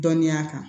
Dɔnniya kan